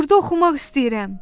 Burda oxumaq istəyirəm.